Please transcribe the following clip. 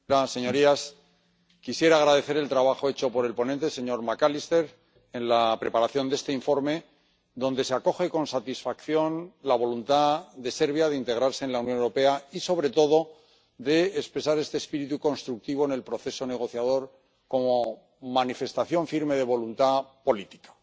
Señor presidente, Señorías, quisiera agradecer el trabajo hecho por el ponente, el señor McAllister, en la preparación de este informe, en el que se acoge con satisfacción la voluntad de Serbia de integrarse en la Unión Europea y, sobre todo, de expresar este espíritu constructivo en el proceso negociador como manifestación firme de voluntad política.